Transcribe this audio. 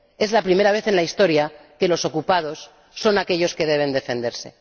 Es la primera vez en la historia que los ocupantes son aquellos que deben defenderse.